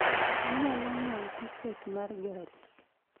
inyalo ng'iewo tiket ma gari